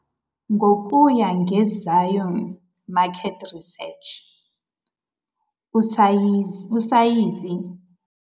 Ngokuya ngeZion Market Research, usayizi.